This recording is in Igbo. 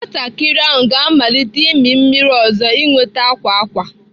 Nwatakịrị ahụ ga-amalite imi mmiri ọzọ nweta akwa akwa.